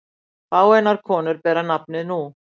Fáeinar konur bera nafnið nú.